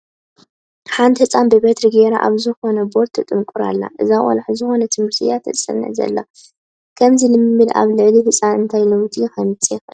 ሓንቲ ህፃን ብበትሪ ገይራ ኣብ ዝኮነ ቦርድ ትጥንቑር ኣላ፡፡ እዛ ቆልዓ ዝኾነ ትምህርቲ እያ ተፅንዕ ዘላ፡፡ ከምዚ ልምምድ ኣብ ልዕሊ ህፃን እንታይ ለውጢ ከምፅእ ይኽእል?